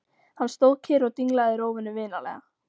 Hann stóð kyrr og dinglaði rófunni vinalega.